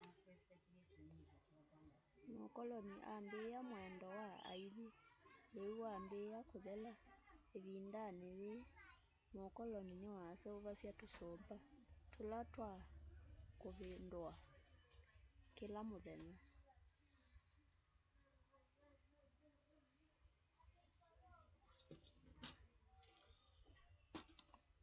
mũkolonĩ ambĩa mwendo wa aĩthĩ leũ wambĩa kũthela.ĩvĩndanĩ yĩĩ mũkolonĩ nĩwaseũvasya tũsũmba tũla twa vĩndũawa kĩla mũthenya